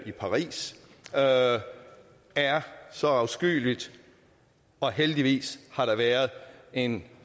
i paris er så afskyeligt heldigvis har der været en